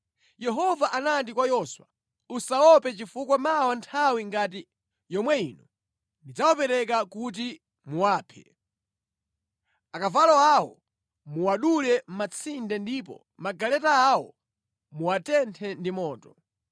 Yehova anati kwa Yoswa, “Usawaope chifukwa mawa nthawi ngati yomwe ino ndidzawapereka kuti muwaphe. Akavalo awo muwadule matsinde ndipo magaleta awo muwatenthe ndi moto.”